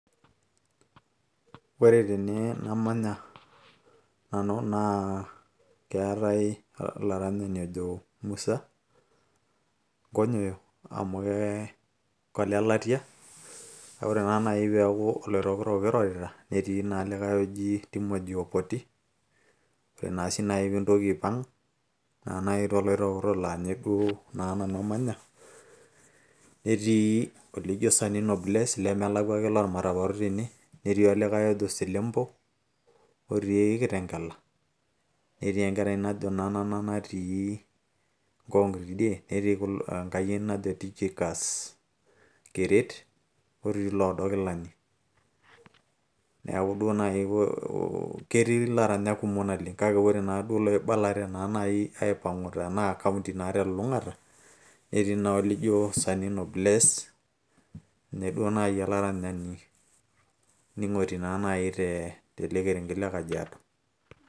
ore tene namanya nanu naa keetay olaranyani ajo musa nkonyoyo amu kee kolelatia kake ore naa naaji peeku oloitokitok kirorita netii naa likay oji Timothy opoti ore naa sii naji piintoki aipang naaji toloitoktok laa nye duo naa nanu amanya netii olijo Sanino bless lemelakua ake lormatapato tene netii olikay ojo Selempo otii kitengela netii enkerai najo Nanana natii Ngong tidie netii enkayieni najo Tychicus keret otii iloodokilani neeku duo naaji ketii ilaranyak kumok naleng kake ore naaduo iloibalate naa naaji aipang'u tenaa kaunti naa telulung'ata netii naa olijo Sanino bless ninye duo naaji olaranyani ning'oti naa naaji naa tele kerenget naa le kajiado.